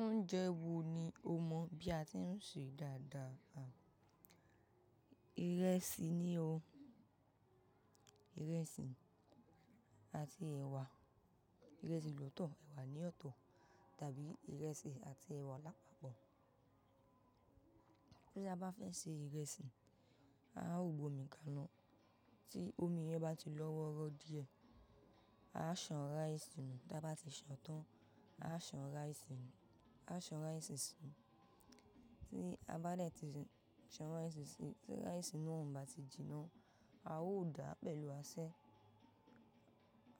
Oúnjẹ wo ni o mọ bí a ti ń ṣe dáadáa? Ìrẹsì ni o. Ìrẹsì àti ẹ̀wà. Ìrẹsì lòtọ̀, ẹ̀wà ní ọ̀tọ̀ tàbí ìrẹsì àti ẹ̀wà lápapọ̀. Bí a bá fẹ́ ṣe ìrẹsì, a ó gbómi ka iná, tí omi yẹn bá ti lọ́wọ́rọ́ díẹ̀, a san ráìsì nù. Bá ti san tán, a san ráìsì si. Tí a bá dẹ̀ ti san ráìsì sí, tí ráìsì náà ò bá ti jinná, a ó dàá pẹ̀lú asẹ́.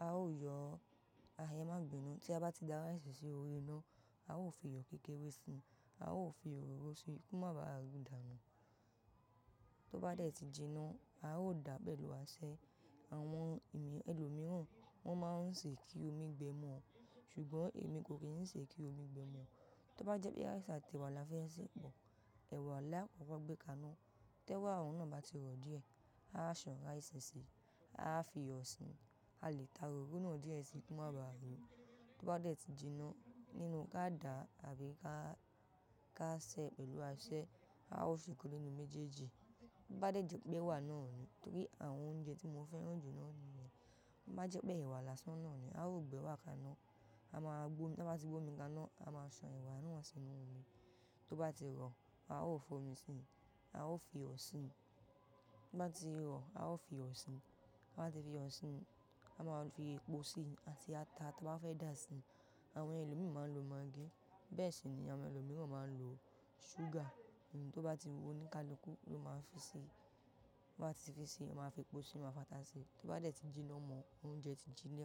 A ó yọ a ẹ́ má bínú. Tí a bá ti dá ráìsì sí oori iná, a ó fi iyọ̀ kékeré si. A ó fi òróró sí i kí ó má bá rù dá nù. Tó bá dẹ̀ ti jinná, a ó dàá pẹ̀lú asẹ́. Àwọn ẹlòmíràn, wọ́n máa ń ṣe kí omi gbẹ mọ, ṣùgbọ́n èmi kò kí ń ṣe kí omi gbẹ mọ. Tó bá jẹ́ pé ráìsì àti ẹ̀wà la fẹ́ sè pọ̀, ẹ̀wà lá koko gbẹ ka iná. Tẹ́ wá òun náà bá ti rọ̀ díẹ̀, a san ráìsì sí i, a fi iyọ̀ síi. A lè ta òróró náà díẹ̀ sí i kí ó má bá rù. Tó bá dẹ̀ ti jinná, nínú ká dà á tàbí ká ṣe é pẹ̀lú asẹ́. A ó se ìkan ninú méjèèjì. Tó bá dẹ̀ jẹ́ pé ẹ̀wà náà ni, torí àwọn oúnjẹ tí mo fẹ́ ránju náà ni, tobá jẹ́ pé ẹ̀wà lásán náà ni, a ó gbẹ ewà ka iná. A máa gbómi, tí a bá ti gbómi ka iná, a máa san ẹ̀wà náà sínú omi. Tó bá ti rọ̀, a ó f'omi síi, a ó fi iyọ̀ síi. Tó bá ti rọ̀, a ó fi iyọ̀ síi. Ta bá ti fi iyọ̀ síi, a máa fi epo síi àti ata. Tó bá fẹ́ dà á síi, àwọn ẹlòmíràn máa ń lo maggi. Bẹ́ẹ̀ sì ni àwọn ẹlòmíràn máa ń lo ṣúgà. Òun tó bá ti wù ọ́ ní kálukù, ló máa fi ṣi. Tó bá ti fi ṣe é, a máa fi epo síi, a máa fà tá sì í. Tó bá dẹ̀ ti jinná mọ́, oúnjẹ ti jiná.